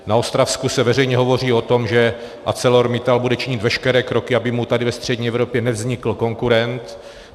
Na Ostravsku se veřejně hovoří o tom, že ArcelorMittal bude činit veškeré kroky, aby mu tady ve střední Evropě nevznikl konkurent.